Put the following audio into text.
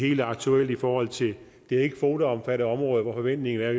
helt aktuelt i forhold til det ikkekvoteomfattede område hvor forventningen er